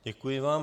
Děkuji vám.